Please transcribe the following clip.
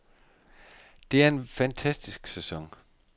Det er en fantastisk sæson.